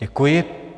Děkuji.